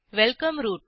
welcome route